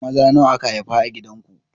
Maza nawa aka haifa a gidan ku?